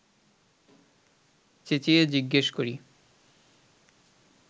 চেঁচিয়ে জিজ্ঞেস করি